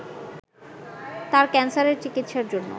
তার ক্যান্সারের চিকিৎসার জন্য